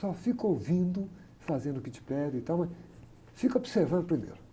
Só fica ouvindo, fazendo o que te pedem e tal, mas fica observando primeiro.